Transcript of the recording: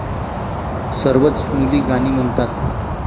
सर्वच मुली गाणी म्हणतात.